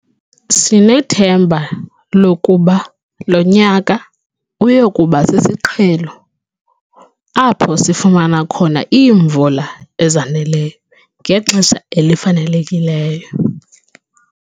Sinethemba lokuba lo nyaka uya kuba 'sisiqhelo' apho sifumana khona iimvula ezaneleyo ngexesha elifanelekileyo.